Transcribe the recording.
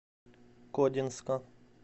кодинска